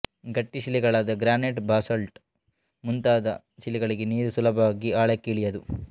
ಗಟ್ಟಿ ಶಿಲೆಗಳಾದ granite basalt ಮುಂತಾದ ಶಿಲೆಗಳಲ್ಲಿ ನೀರು ಸುಲಭವಾಗಿ ಆಳಕ್ಕೆ ಇಳಿಯದು